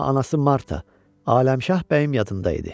Amma anası Marta, Aləmşah Bəyim yadında idi.